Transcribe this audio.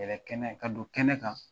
Yɛrɛ kɛnɛ ka don kɛnɛ kan